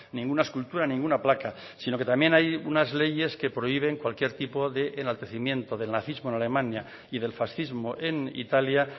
ninguna escultura ninguna placa sino que también hay unas leyes que prohíben cualquier tipo de enaltecimiento del nazismo en alemania y del fascismo en italia